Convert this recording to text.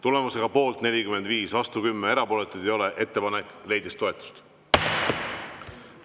Tulemusega poolt 45, vastu 10, erapooletuid ei ole, ettepanek leidis toetust.